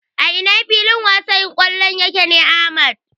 A ina filin wasan kwallo yake ne Ahmad?